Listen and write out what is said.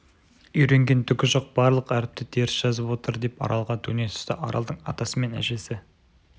үйренген түгі жоқ барлық әріпті теріс жазып отыр деп аралға төне түсті аралдың атасы мен әжесі